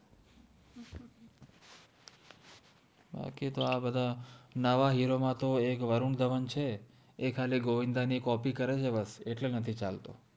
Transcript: બાકિ તો આ બધા નવા હેરો મા તો એક વરુન ધવન છે એ ખાલિ ગોવિન્દા નિ કોપિ કરે ચે એત્લે નથિ ચાલ્તો